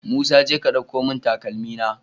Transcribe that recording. Musa jeka ka ɗauko mun takalmi na